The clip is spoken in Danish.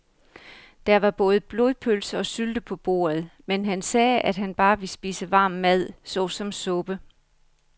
Der var både blodpølse og sylte på bordet, men han sagde, at han bare ville spise varm mad såsom suppe.